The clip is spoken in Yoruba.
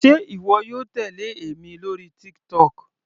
Sé ìwọ yóò tèlé èmi lórí TikTok.